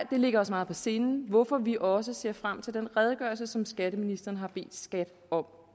ligger os meget på sinde hvorfor vi også ser frem til den redegørelse som skatteministeren har bedt skat om